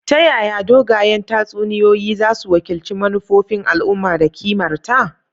Ta yaya dogayen tatsuniyoyi zasu wakilci manufofin al'umma da kimarta?